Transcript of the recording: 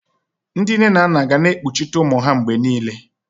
Ndị nne na nna ga na-ekpuchite ụmụ ha mgbe niile.